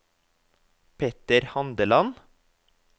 Petter Handeland